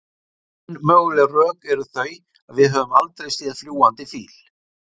Ein möguleg rök eru þau að við höfum aldrei séð fljúgandi fíl.